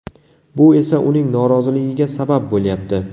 Bu esa uning noroziligiga sabab bo‘lyapti.